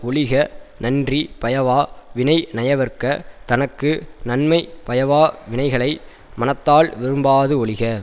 ஒழிக நன்றி பயவா வினை நயவற்க தனக்கு நன்மை பயவா வினைகளை மனத்தால் விரும்பாது ஒழிக